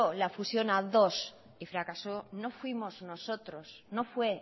la fusión a dos y fracasó no fuimos nosotros no fue